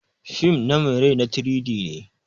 Fim na mai rai na 3-D ne.